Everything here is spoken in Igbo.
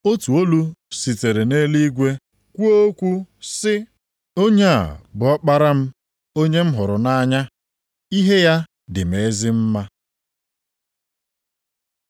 Otu olu sitere nʼeluigwe kwuo okwu sị, “Onye a bụ Ọkpara m, onye m hụrụ nʼanya. Ihe ya dị m ezi mma.”